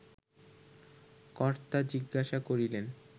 কর্তা জিজ্ঞাসা করিলেন